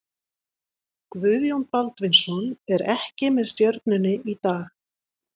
Guðjón Baldvinsson er ekki með Stjörnunni í dag.